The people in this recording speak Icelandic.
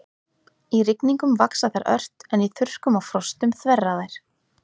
Í rigningum vaxa þær ört en í þurrkum og frostum þverra þær.